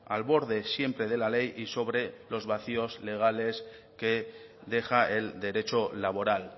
al borde siempre de la ley y sobre los vacíos legales que deja el derecho laboral